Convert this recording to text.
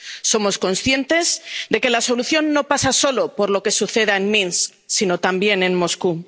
Somos conscientes de que la solución no pasa solo por lo que suceda en Minsk, sino también en Moscú.